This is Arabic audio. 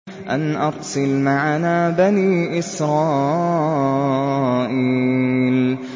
أَنْ أَرْسِلْ مَعَنَا بَنِي إِسْرَائِيلَ